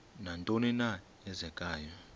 nantoni na eenzekayo